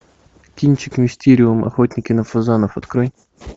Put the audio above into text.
кинчик мистериум охотники на фазанов открой